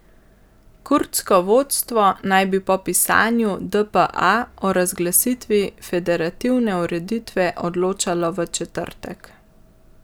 Kurdsko vodstvo naj bi po pisanju dpa o razglasitvi federativne ureditve odločalo v četrtek.